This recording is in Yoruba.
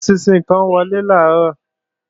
Eṣinṣin kó wọlé làárọ̀